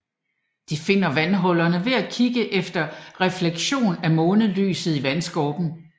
De finder vandhullerne ved at kigge efter refleksion af månelyset i vandskorpen